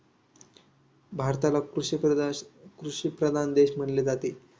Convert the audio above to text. भारताला कृषीप्रधाकृषीप्रधान देश म्हटले जाते.